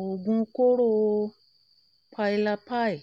oògun kóró pylapy